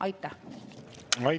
Aitäh!